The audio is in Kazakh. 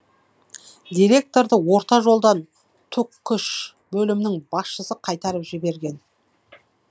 директорды орта жолдан түкш бөлімінің басшысы қайтарып жіберген